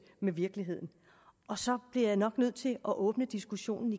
med virkeligheden så bliver jeg nok nødt til igen at åbne diskussionen